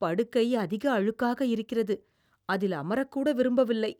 படுக்கை அதிக அழுக்காக இருக்கிறது, அதில் அமரக்கூட விரும்பவில்லை.